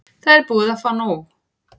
Það er búið að fá nóg.